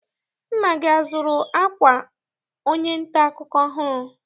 Nna gị azụrụ akwa onye nta akụkọ ọhụrụ?